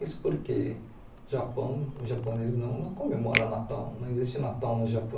Isso porque o Japão, os japoneses não não comemoram Natal, não existe Natal no Japão.